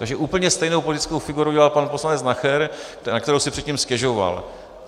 Takže úplně stejnou politickou figuru udělal pan poslanec Nacher, na kterou si předtím stěžoval.